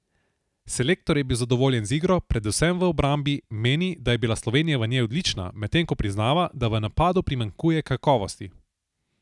Selektor je bil zadovoljen z igro, predvsem v obrambi, meni, da je bila Slovenija v njej odlična, medtem ko priznava, da v napadu primanjkuje kakovosti.